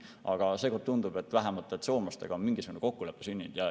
Aga seekord tundub, et vähemalt soomlastega on mingisugune kokkulepe sündinud.